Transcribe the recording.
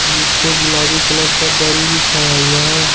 नीचे गुलाबी कलर का दर्री बिछाया हुआ है।